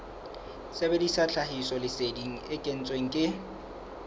sebedisa tlhahisoleseding e kentsweng ke